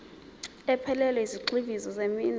ephelele yezigxivizo zeminwe